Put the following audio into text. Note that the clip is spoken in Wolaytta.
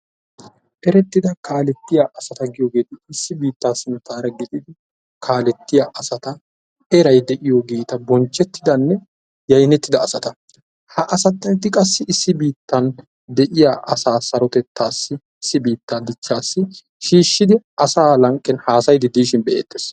Eretida kaalettiya asata erettidanne yaynettiya issi biitta akalettiya asata. ha asati qassi issi biitaa asaa sarotettassi shiishidi hhasayishin be'eetees.